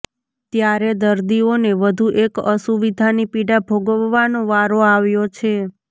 ત્યારે દર્દીઓને વધુ એક અસુવિધાની પીડા ભોગવવાનો વારો આવ્યો છે